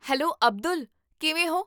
Hello Abdul, ਕਿਵੇਂ ਹੋ?